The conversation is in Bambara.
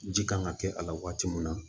Ji kan ka kɛ a la waati min na